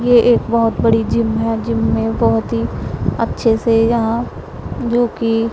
ये एक बहुत बड़ी जिम है जिम में बहुत ही अच्छे से यहां जो कि--